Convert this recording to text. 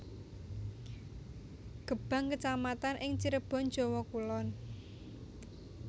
Gebang kecamatan ing Cirebon Jawa Kulon